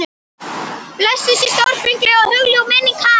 Blessuð sé stórfengleg og hugljúf minning hans.